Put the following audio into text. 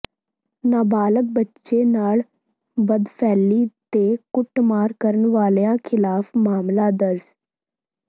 ਨਾਬਾਲਗ ਬੱਚੇ ਨਾਲ ਬਦਫ਼ੈਲੀ ਤੇ ਕੁੱਟਮਾਰ ਕਰਨ ਵਾਲਿਆਂ ਿਖ਼ਲਾਫ਼ ਮਾਮਲਾ ਦਰਜ